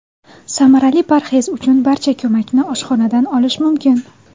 Samarali parhez uchun barcha ko‘makni oshxonadan olish mumkin.